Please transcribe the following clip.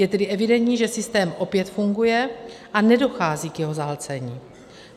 Je tedy evidentní, že systém opět funguje a nedochází k jeho zahlcení.